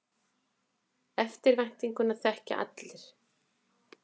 Eftirvæntinguna þekkja allir.